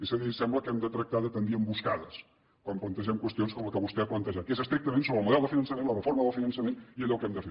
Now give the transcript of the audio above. és a dir sembla que hem de tractar de tendir emboscades quan plantegem qüestions com la que vostè ha plantejat que és estrictament sobre el model de finançament la reforma del finançament i allò que hem de fer